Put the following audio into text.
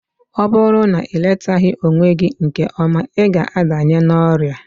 Ọ bụrụ na iletaghi onwe gị nke ọma, ịga adanye n'ọrịa